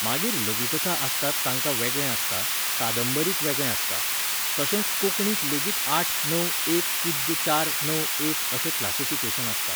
मागीर लघुकथा आसतात तांकां वेगळें आसता, कादंबरीक वेगळें आसता. तशेंच कोंकणीक लेगीत आठ णव एक पूज्य चार णव एक अशें क्लासिफिकेशन आसता